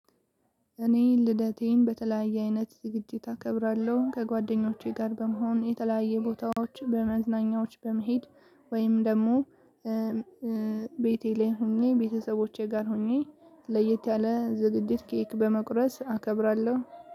እኔ ልደቴን በተለያየ አይነት ዝግጅት አከብራለሁ ከጓደኞቼ ጋር በመሆን የተለያየ ቦታዎች በመዝናኛዎች በመሄድ ወይም ደግሞ ቤቴ ላይ ሆኜ ቤተሰቦቼ ጋር ሆኜ ለየት ያለ ዝግጅት ኬክ በመቁረስ አከብራለሁ።